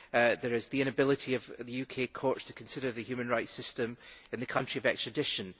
There is the inability of the UK courts to consider the human rights system in the country of extradition.